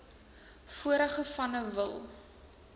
vorige vanne wil